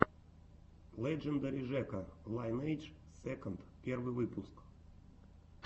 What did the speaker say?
лэджендари жека лайнэйдж сэконд первый выпуск